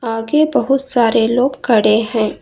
आगे बहुत सारे लोग खड़े हैं।